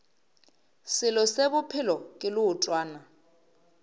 selo se bophelo ke leotwana